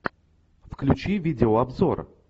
включи видео обзор